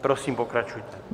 Prosím, pokračujte.